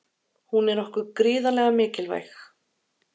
Hún er okkur gríðarlega mikilvæg.